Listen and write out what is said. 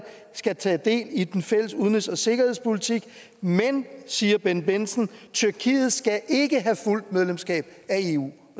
skal tage del i den fælles udenrigs og sikkerhedspolitik men siger bendt bendtsen tyrkiet skal ikke have fuldt medlemskab af eu